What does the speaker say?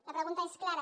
la pregunta és clara